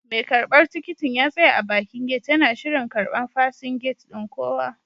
Mai karbar tikitin ya tsaya a bakin gate yana shirin karban fasin gate ɗin kowa.